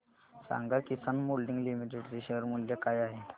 सांगा Kisan moulding limited चे share मूल्य काय आहे